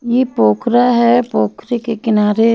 ये पोखरा है पोखरे के किनारे--